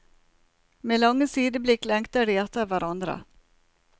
Med lange sideblikk lengter de etter hverandre.